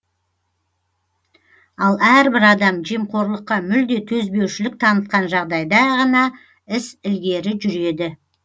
ал әрбір адам жемқорлыққа мүлде төзбеушілік танытқан жағдайда ғана іс ілгері жүреді